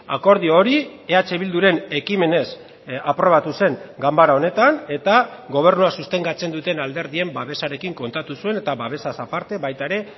akordio hori eh bilduren ekimenez aprobatu zen ganbara honetan eta gobernua sostengatzen duten alderdien babesarekin kontatu zuen eta babesaz aparte baita ere